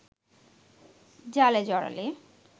জালে জড়ালে